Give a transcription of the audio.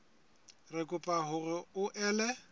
re kopa hore o ele